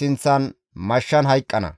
sinththan mashshan hayqqana.